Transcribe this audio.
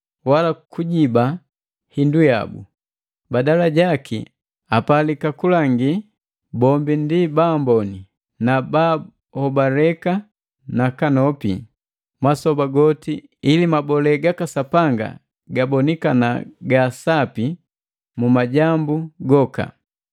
wala kujiba hindu yabu. Badala jaki apalika kulangi bombi ndi baamboni na baahobaleka nakanopi masoba goti ili mabole gaka Sapanga gabonikana gaasapi mu majambu goka.